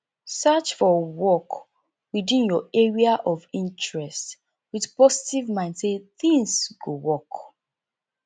search for work within your area of interest with positve mind sey things go work